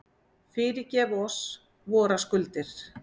Fyrirgef oss vorar skuldir,